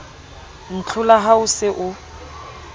ntlhola ha o se o